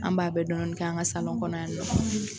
An b'a bɛɛ dɔni dɔni kɛ an ka kɔnɔ yan nɔ.